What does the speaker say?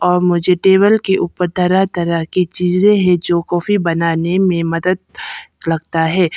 और मुझे टेबल के ऊपर तरह तरह की चीजे हैं जो कॉफी बनाने में मदद लगता है।